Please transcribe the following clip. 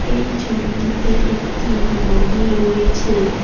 এই ছবিটিতে একটি নদী রয়েছে।